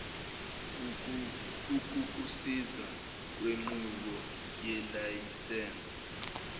ukukusiza kwinqubo yelayisense